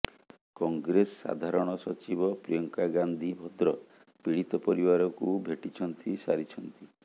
କଂଗ୍ରେସ ସାଧାରଣ ସଚିବ ପ୍ରିୟଙ୍କା ଗାନ୍ଧୀ ଭଦ୍ର ପୀଡ଼ିତ ପରିବାରକୁ ଭେଟିଛନ୍ତି ସାରିଛନ୍ତି